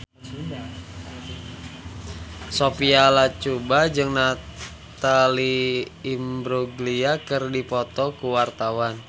Sophia Latjuba jeung Natalie Imbruglia keur dipoto ku wartawan